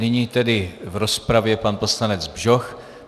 Nyní tedy v rozpravě pan poslanec Bžoch.